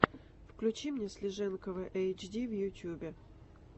включи мне слиженкова эйчди в ютюбе